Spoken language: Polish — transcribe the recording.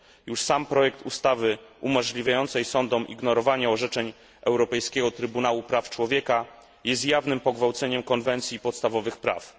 Już sam projekt ustawy umożliwiającej sądom ignorowanie orzeczeń Europejskiego Trybunału Praw Człowieka jest jawnym pogwałceniem konwencji podstawowych praw.